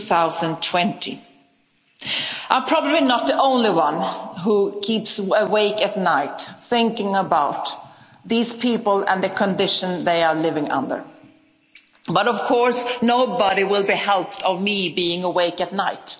2020. I am probably not the only one who keeps awake at night thinking about these people and the conditions they are living under. But, of course, nobody will be helped by me being awake at night.